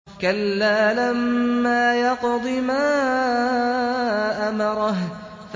كَلَّا لَمَّا يَقْضِ مَا أَمَرَهُ